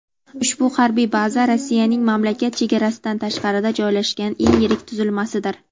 Ushbu harbiy baza Rossiyaning mamlakat chegarasidan tashqarida joylashgan eng yirik tuzilmasidir.